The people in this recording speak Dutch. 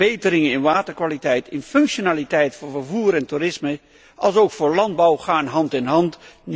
Verbeteringen van de waterkwaliteit, van de functionaliteit voor vervoer en toerisme, alsook van de landbouw gaan hand in hand.